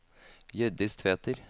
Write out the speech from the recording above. Hjørdis Tveter